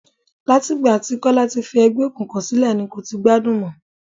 Láti ìgbà tí Kọ́lá ti fi ẹgbẹ́ òkùnkùn sílẹ̀ ni kò ti gbádùn mọ.